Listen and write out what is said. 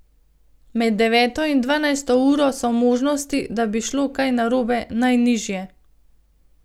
Med deveto in dvanajsto uro so možnosti, da bi šlo kaj narobe, najnižje.